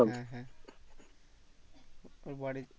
হ্যাঁ হ্যাঁ ওর বাড়ি